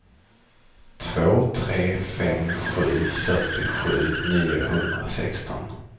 två tre fem sju fyrtiosju niohundrasexton